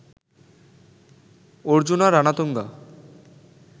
Arjuna Ranatunga